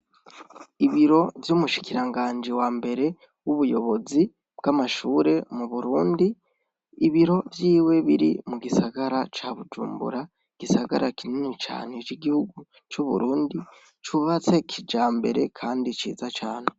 Ibiro vy'umushikiranganji wambere w'ubuyobozi bw'amashure m'uburundi, ibiro vyiwe biri mugisagara ca bujumbura, igisagara kinini cane c'igihugu c'uburundi ,cubatse kijambere kandi ciza cane.